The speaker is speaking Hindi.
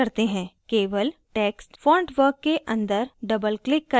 केवल text fontwork के अंदर doubleclick करें